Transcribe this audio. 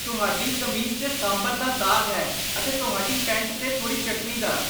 ਤੁਹਾਡੀ ਕਮੀਜ਼ 'ਤੇ ਸਾਂਭਰ ਦਾ ਦਾਗ਼ ਹੈ ਅਤੇ ਤੁਹਾਡੀ ਪੈਂਟ 'ਤੇ ਥੋੜੀ ਚਟਨੀ ਦਾ ।